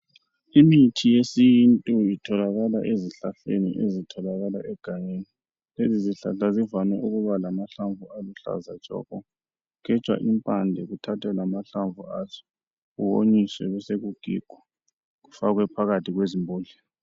Imithi yesintu itholakala ezihlahleni ezitholakala egangeni. Lezi zihlahla zivame ukuba alamahlamvu aluhlaza tshoko. Kugejwa imphande kuthathwe lamahlamvu aso kuwonyi kubesekugigwa kufakwe phakathi kwezibhodlela .